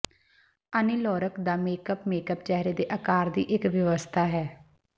ਅਨੀ Lorak ਦਾ makeup makeup ਚਿਹਰੇ ਦੇ ਆਕਾਰ ਦੀ ਇੱਕ ਵਿਵਸਥਾ ਹੈ